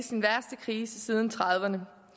andre